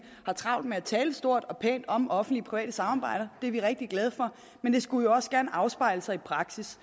har travlt med at tale stort og pænt om offentlig private samarbejder det er vi rigtig glade for men det skulle jo også gerne afspejle sig i praksis